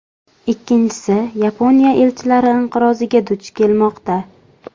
Ikkinchisi, Yaponiya ishchilar inqiroziga duch kelmoqda.